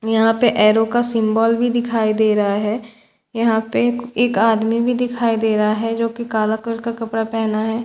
यहाँ पर ऐरो का सिम्बल भी दिखाई दे रहा है यहाँ पे एक आदमी भी दिखाई दे रहा है जो कि काला कलर का कपड़ा पहना है--